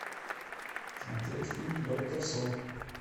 смотреть фильм доктор сон